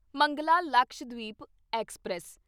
Mangala Lakshadweep express